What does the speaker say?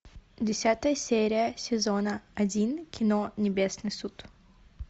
десятая серия сезона один кино небесный суд